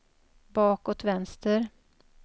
bakåt vänster